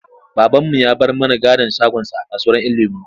Babanmu ya bar mana gadon shagonsa a kasuwar ‘Yan lemo.